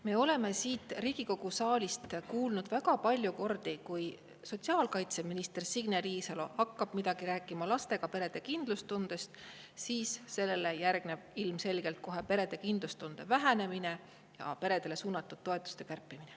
Me oleme siin Riigikogu saalis kuulnud väga palju kordi, et kui sotsiaalkaitseminister Signe Riisalo hakkab midagi rääkima lastega perede kindlustundest, siis sellele järgneb kohe ilmselge perede kindlustunde vähenemine ja peredele suunatud toetuste kärpimine.